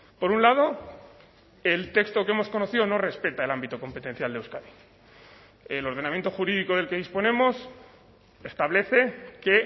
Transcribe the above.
por un lado el texto que hemos conocido no respeta el ámbito competencial de euskadi el ordenamiento jurídico del que disponemos establece que